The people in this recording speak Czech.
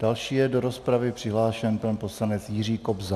Další je do rozpravy přihlášen pan poslanec Jiří Kobza.